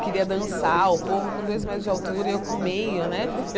Queria dançar, o povo com dois metros de altura e eu com meio, né?